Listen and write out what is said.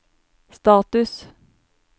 status